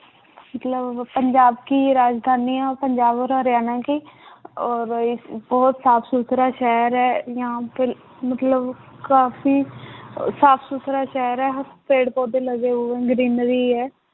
ਮਤਲਬ ਪੰਜਾਬ ਕੀ ਰਾਜਧਾਨੀ ਹੈ, ਪੰਜਾਬ ਹਰਿਆਣਾ ਕੀ ਔਰ ਇਹ ਬਹੁਤ ਸਾਫ਼ ਸੁਥਰਾ ਸ਼ਹਿਰ ਹੈ ਯਹਾਂ ਪਰ ਮਤਲਬ ਕਾਫ਼ੀ ਅਹ ਸਾਫ਼ ਸੁਥਰਾ ਸ਼ਹਿਰ ਹੈ, ਪੇੜ ਪੌਦੇ ਲਗੇ ਹੋਏ greenery ਹੈ